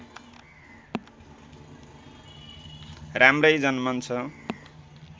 राम्रै जन्मन्छ